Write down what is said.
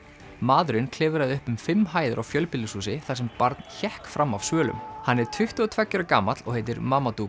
maðurinn klifraði upp um fimm hæðir á fjölbýlishúsi þar sem barn hékk fram af svölum hann er tuttugu og tveggja ára gamall og heitir